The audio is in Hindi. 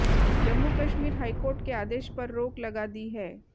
जम्मू कश्मीर हाईकोर्ट के आदेश पर रोक लगा दी है